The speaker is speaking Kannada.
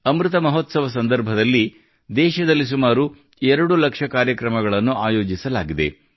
ಅಮೃತ ಮಹೋತ್ಸವ ಸಂದರ್ಭದಲ್ಲಿ ದೇಶದಲ್ಲಿ ಸುಮಾರು ಎರಡು ಲಕ್ಷ ಕಾರ್ಯಕ್ರಮಗಳನ್ನು ಆಯೋಜಿಸಲಾಗಿದೆ